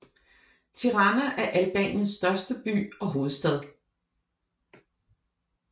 Tirana er Albaniens hovedstad og største by